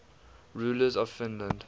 rulers of finland